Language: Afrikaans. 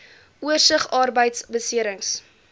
oorsig arbeidbeserings